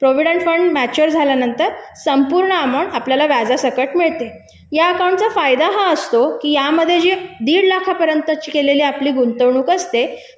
भविष्य निर्वाह निधी कालावधी पूर्ण झाल्यावर संपूर्ण रक्कम आपल्याला व्याजासकट मिळते या अकाउंटचा फायदा हा असतो की यामध्ये दीड लाखापर्यंतची केलेली आपली गुंतवणूक असते